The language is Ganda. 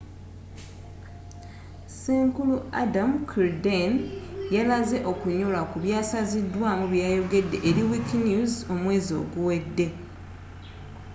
senkulu adam cuerden yalaze okunyolwa ku byasazidwaamu bweyayogedde eri wikinews omwezi oguwedde